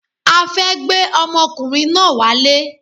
A fẹ́ gbé ọmọkùnrin náà wálé